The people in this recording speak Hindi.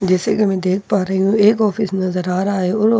जैसे की मैं देख पा रही हूँ एक ऑफिस नजर आ रहा हैं और ऑफिस में रखी बहुत सारी --